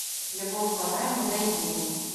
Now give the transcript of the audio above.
любовь по найму найди